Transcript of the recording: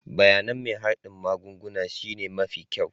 Bayanin mai hardin magunguna shine mafi kyau.